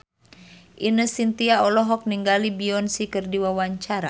Ine Shintya olohok ningali Beyonce keur diwawancara